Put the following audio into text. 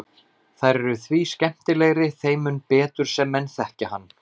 Þær eru því skemmtilegri þeim mun betur sem menn þekkja hann.